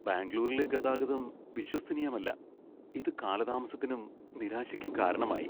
ബാംഗ്ലൂരിലെ ഗതാഗതം വിശ്വസനീയമല്ലാ. ഇത് കാലതാമസത്തിനും, നിരാശയ്ക്കും കാരണമായി.